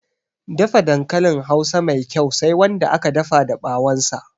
Dafa dankalin hausa Mai kyau Sai Wanda aka dafa da ɓawon sa